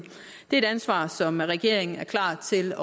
det er et ansvar som regeringen er klar til